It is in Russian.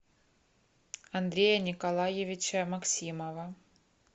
андрея николаевича максимова